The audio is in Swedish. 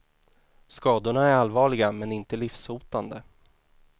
Skadorna är allvarliga men inte livshotande.